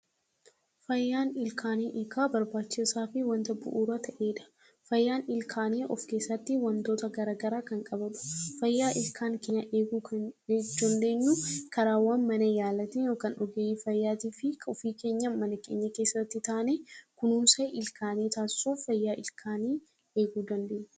Fayyaan ilkaanii barbaachisaa fi wanta bu'uura ta’e dha. Fayyaan ilkaanii of keessatti wantoota garagaraa kan qabatudha. Fayyaa ilkaan keenyaa eeguu kan nuti dandeenyu karaawwan mana yaalaatiin yookaan ogeeyyii fayyaatii fi kan ofii keenyaan mana keenya keessatti taane kunuunsa ilkaanii taasisuuf fayyaa ilkaanii eeguu dandeenyudha.